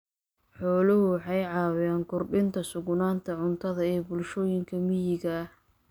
Xooluhu waxay caawiyaan kordhinta sugnaanta cuntada ee bulshooyinka miyiga ah.